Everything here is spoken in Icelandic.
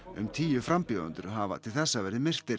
um tíu frambjóðendur hafa til þessa verið myrtir